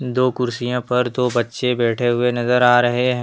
दो कुर्सिया पर दो बच्चे बैठे हुए नजर आ रहे है।